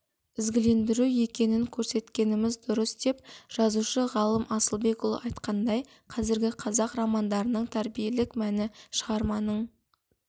ізгілендіру екенін көрсеткеніміз дұрыс деп жазушы ғалым асылбекұлы айтқандай қазіргі қазақ романдарының тәрбиелік мәні шығарманың